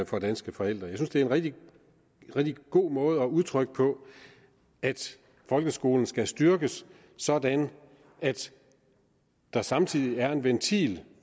for danske forældre jeg synes det er en rigtig god måde at udtrykke på at folkeskolen skal styrkes sådan at der samtidig er en ventil